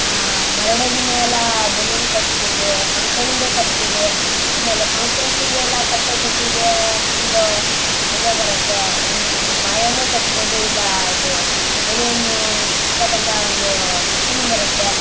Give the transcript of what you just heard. ಆ ಬರ್ತ್ಡೇ ಗೆಲ್ಲ ಬಲೂನ್ ಕತ್ತೀವಿ ಫ್ಯಾಂಕ್ಷನ್ ಗು ಕತ್ತೀವಿ ಫ್ಯಾಂಕ್ಷನ್ ಗೆಲ್ಲ ಕಟ್ಟೋ ಫುಲ್ ಮಜಾ ಬರುತ್ತೆ ಏನು ಬಾಯಲ್ಲೇ ಕಟ್ಟಬೊದು ಇನ್ನು ಬಲೂನ್ ಉಸಾಕಂತ ಒಂದು ಮಶೀನ್ ಬರುತ್ತೆ.